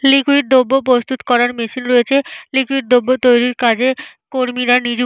Liquid দ্রব্য প্রস্তুত করার মেশিন রয়েছে। লিকুইড দ্রব্য তৈরির কাজে কর্মীরা নিযু --